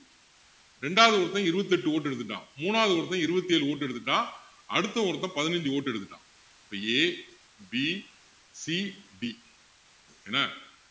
ரெண்டாவது ஒருத்தன் இருபத்து எட்டு vote எடுத்துட்டான் மூணாவது ஒருத்தன் இருபத்து ஏழு vote எடுத்துட்டான் அடுத்த ஒருத்தன் பதினஞ்சு vote எடுத்துட்டான் இப்போ ABCD என்ன